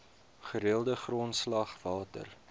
gereelde grondslag water